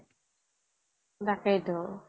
তাকেই তোঁ